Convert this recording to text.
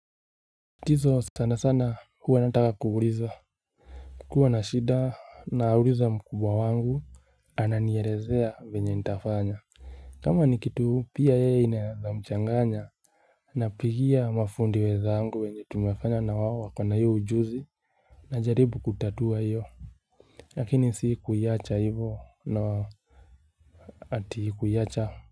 Tizo sana sana huwa nataka kuuliza kukua na shida nauliza mkubwa wangu ananielezea venye nitafanya kama ni kitu pia yeye inaezamchanganya Napigia mafundi wezangu wenye tumefanya na wao wako na hiyo ujuzi Najaribu kutatua hiyo lakini si kuiacha hivo na ati kuiacha.